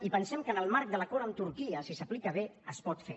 i pensem que en el marc de l’acord amb turquia si s’aplica bé es pot fer